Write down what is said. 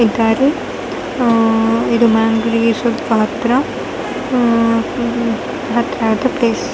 ಇದ್ದಾರೆ ಹತ್ರ ಆದ ಪ್ಲೇಸ್ .